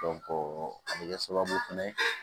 a bɛ kɛ sababu fɛnɛ ye